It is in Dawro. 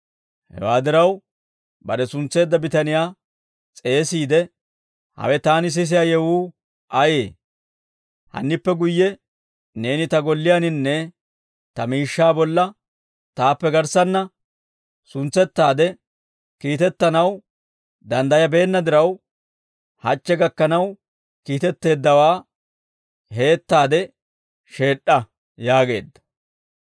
hewaa diraw bare suntseedda bitaniyaa s'eesiide, ‹Hawe taani sisiyaa yewuu ayee? Hannippe guyye neeni ta Golliyaaninne ta miishshaa bolla taappe garssanna suntsettaade kiitettanaw danddayabeenna diraw, hachche gakkanaw kiitetteeddawaa heettaade sheed'd'a› yaageedda.